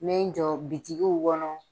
Me n jɔ bitikiw kɔnɔ,